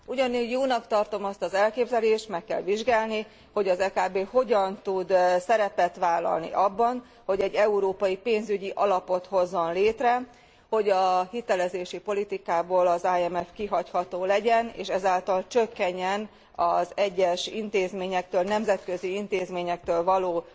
Ugyanígy jónak tartom azt az elképzelést, meg kell vizsgálni, hogy az EKB hogyan tud szerepet vállalni abban, hogy egy európai pénzügyi alapot hozzon létre, hogy a hitelezési politikából az IMF kihagyható legyen, és ezáltal csökkenjen az egyes nemzetközi intézményektől való